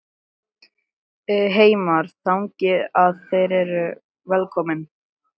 Heimir: Þannig að þeir eru velkomnir?